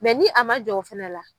ni a ma jɔ o fɛnɛ la